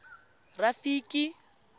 rafiki